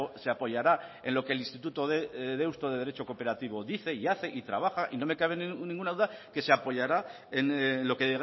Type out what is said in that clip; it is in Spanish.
se apoyará en lo que el instituto de deusto de derecho cooperativo dice y hace y trabaja y no me cabe ninguna duda que se apoyará en lo que